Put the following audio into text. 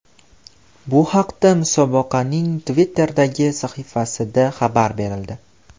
Bu haqida musobaqaning Twitter’dagi sahifasida xabar berildi .